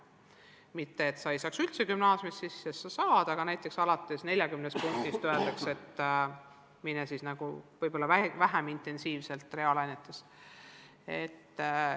Mitte et õpilane ei saaks üldse gümnaasiumi sisse, saab küll, aga näiteks alates 40 punktist öeldakse, et ära võib-olla nii intensiivselt reaalainete harusse mine.